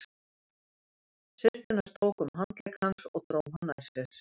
Systir hans tók um handlegg hans og dró hann nær sér.